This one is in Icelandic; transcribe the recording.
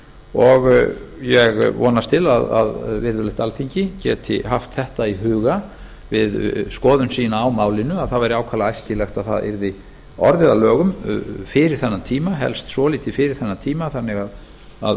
og ég vonast til að virðulegt alþingi geti haft þetta í huga við skoðun sína á málinu að það væri ákaflega æskilegt að það væri orðið að lögum fyrir þennan tíma helst svolítið fyrir þennan tíma þannig að